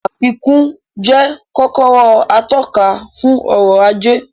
Àfikún jẹ́ kọ́kọ́rọ́ atọ́ka fún ọrọ̀ ajé